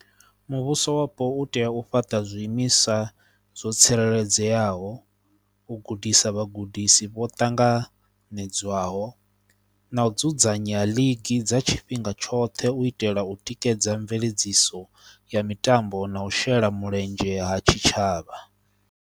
Muvhuso wapo u tea u fhaṱa zwiimiswa zwo tsireledzeaho, u gudisa vhagudisi vho ṱanganedzwaho na u dzudzanya league dza tshifhinga tshoṱhe u itela u tikedza mveledziso ya mitambo na u shela mulenzhe ha tshitshavha.